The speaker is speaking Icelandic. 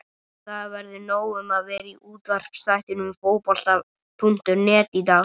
Það verður nóg um að vera í útvarpsþættinum Fótbolta.net í dag.